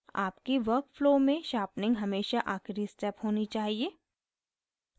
आपके work flow में sharpening हमेशा आखिरी step होनी चाहिए